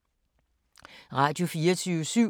Radio24syv